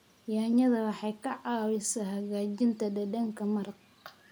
Yaanyada waxay ka caawisaa hagaajinta dhadhanka maraq.